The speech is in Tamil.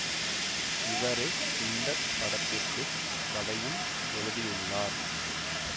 இவரே இந்த படத்திற்கு கதையும் எழுதியுள்ளார்